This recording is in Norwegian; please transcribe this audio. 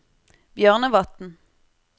Bjørnevatn